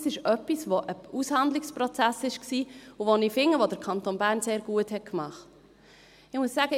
Das ist etwas, das ein Aushandlungsprozess war und bei dem ich finde, dass der Kanton Bern es sehr gut gemacht hat.